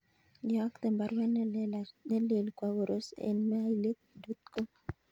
Iyokten baruet nelelach kwo Koros en mailit dot com